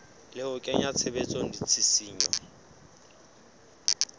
le ho kenya tshebetsong ditshisinyo